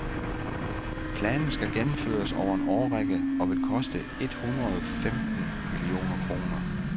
Planen skal gennemføres over en årrække og vil koste et hundrede femten millioner kroner.